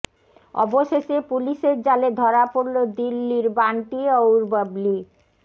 অবশেষে পুলিশের জালে ধরা পড়ল দিল্লির বান্টি অউর বাবলি